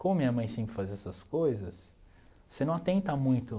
Como minha mãe sempre faz essas coisas, você não atenta muito.